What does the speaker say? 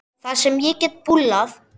Það sem ég get bullað.